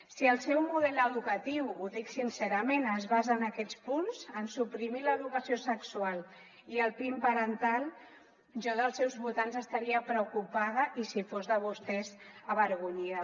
si el seu model edu·catiu ho dic sincerament es basa en aquests punts en suprimir l’educació sexual i el pin parental jo dels seus votants estaria preocupada i si fos de vostès avergo·nyida